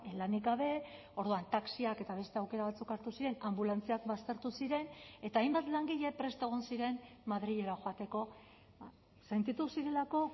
lanik gabe orduan taxiak eta beste aukera batzuk hartu ziren anbulantziak baztertu ziren eta hainbat langile prest egon ziren madrilera joateko sentitu zirelako